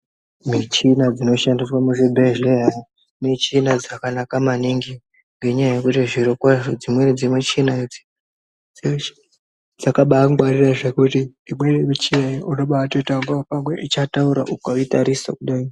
Michina dzino shandiswa mu zvibhedhleya michina dzakanaka maningi ngenya yekuti zviro kwazvo dzimweni dze michina idzi dzeshe dzakabai ngwarire zvekuti imweni michina unobai toita pamwe icha taura ukai tarisa kudai.